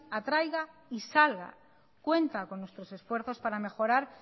atraiga y salga cuenta con nuestros esfuerzos para mejorar